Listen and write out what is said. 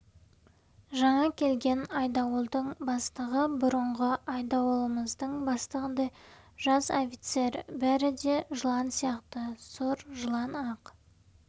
жаңа келген айдауылдың бастығы бұрынғы айдауылымыздың бастығындай жас офицер бәрі де жылан сияқты сұр жылан ақ